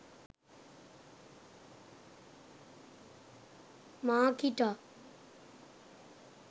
makita